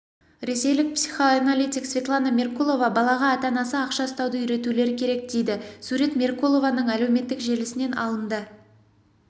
ресейлік психоаналитик светлана меркулова балаға ата-анасы ақша ұстауды үйретулер керек дейді сурет меркулованың әлеуметтік желісінен алынды